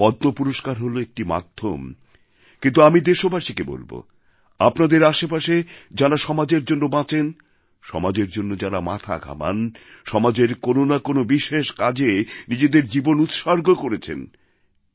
পদ্মপুরষ্কার হলো একটি মাধ্যম কিন্তু আমি দেশবাসীকে বলবো আমাদের আশেপাশে যাঁরা সমাজের জন্য বাঁচেন সমাজের জন্য যারা মাথা ঘামান সমাজের কোনো না কোনো বিশেষ কাজে নিজেদের জীবন উৎসর্গ করেছেন